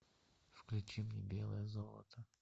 включи мне белое золото